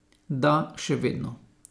Da, še vedno.